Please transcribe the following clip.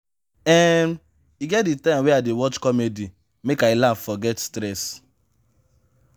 um e get di time wey i dey watch comedy make i laugh forget stress.